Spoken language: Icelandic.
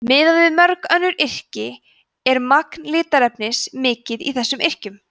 miðað við mörg önnur yrki er magn litarefnis mikið í þessum yrkjum